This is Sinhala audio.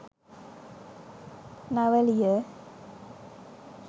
nawaliya